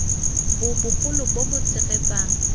bo bogolo bo bo tshegetsang